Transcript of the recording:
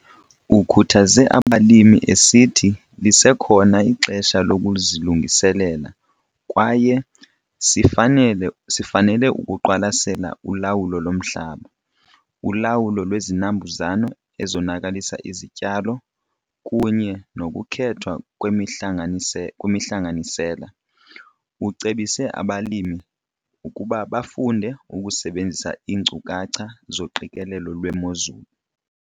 Ukhuthaze abalimi esithi lisekhona ixesha lokuzilungiselela kwaye sifanele ukuqwalasela ulawulo lomhlaba, ulawulo lwezinambuzane ezonakalisa izityalo, kunye nokukhethwa kwemihlanganisela. Ucebise abalimi ukuba bafunde ukusebenzisa iinkcukacha zoqikelelo lwemozulu.